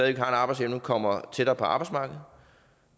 en arbejdsevne kommer tættere på arbejdsmarkedet